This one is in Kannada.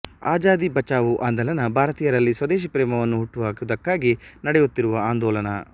ಆಜಾದಿ ಬಚಾವೋ ಆಂದೋಲನ ಭಾರತೀಯರಲ್ಲಿ ಸ್ವದೇಶಿ ಪ್ರೇಮವನ್ನು ಹುಟ್ಟು ಹಾಕುವದಕ್ಕಾಗಿ ನಡೆಯುತ್ತಿರುವ ಆಂದೋಲನ